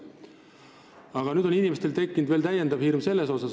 Aga nüüd on inimestel tekkinud veel üks hirm.